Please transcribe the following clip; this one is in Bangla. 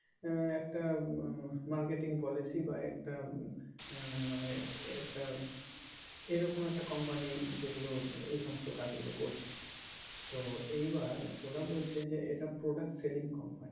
আহ একটা marketing policy বা একটা মানে এই একটা এরকম একটা company যেইগুলো এই সমস্ত কাজগুলো করছে তো এইবার ওরা বলছে যে এইটা product selling company